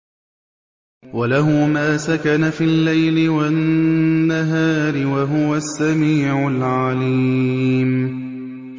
۞ وَلَهُ مَا سَكَنَ فِي اللَّيْلِ وَالنَّهَارِ ۚ وَهُوَ السَّمِيعُ الْعَلِيمُ